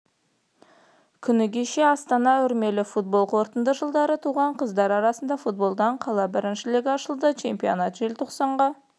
күні кеше астанада үрмелі футбол кортында жылдары туған қыздар арасында футболдан қала біріншілігі ашылды чемпионат желтоқсанға